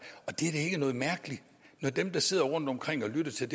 dem der sidder rundtomkring og lytter til